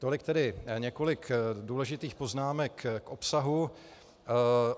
Tolik tedy několik důležitých poznámek k obsahu.